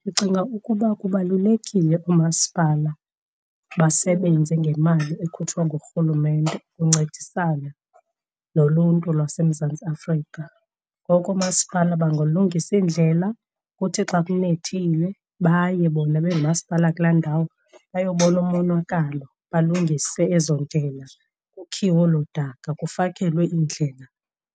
Ndicinga ukuba kubalulekile oomasipala basebenze ngemali ekhutshwa ngurhulumente uncedisana noluntu lwaseMzantsi Afrika. Ngoko oomasipala bangalungisa iindlela kuthi xa kunethile baye bona bengumasipala kulaa ndawo bayobona umonakalo, balungise ezo ndlela, kukhiwe olo daka, kufakelwe iindlela